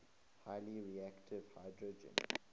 highly reactive hydrogen